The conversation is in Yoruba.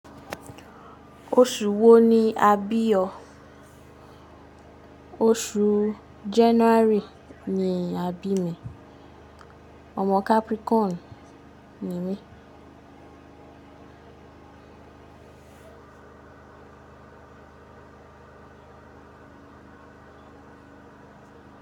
Oṣù wo ni a bí ọ? Oṣù January ni a bí mi. Ọmọ Capricorn ni mí.